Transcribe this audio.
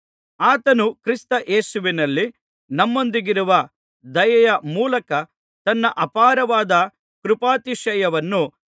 ಆತನು ಕ್ರಿಸ್ತ ಯೇಸುವಿನಲ್ಲಿ ನಮ್ಮೊಂದಿಗಿರುವ ದಯೆಯ ಮೂಲಕ ತನ್ನ ಅಪಾರವಾದ ಕೃಪಾತಿಶಯವನ್ನು